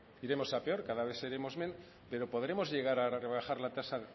iremos a peor cada vez seremos menos pero podremos llegar a rebajar la tasa